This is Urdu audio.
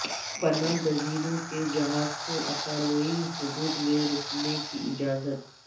پناہ گزینوں کے جہاز کو اطالوی حدود میں رکنے کی اجازت